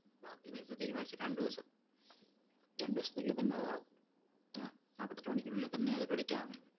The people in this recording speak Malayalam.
ബാക്കി paisa തീരുമാനിച്ചിട്ട് രണ്ടു ദിവസം. രണ്ടു ദിവസത്തിനുള്ളിൽ തന്നെ അതാവും. ആഹ് നാപ്പത്തെട്ട്‍ മണിക്കൂറിനുള്ളിൽ തന്നെ അത് credit ആവുന്നതാണ്.